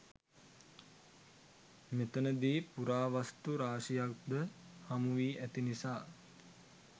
මෙතැනදී පුරාවස්තු රාශියක් ද හමුවී ඇති නිසා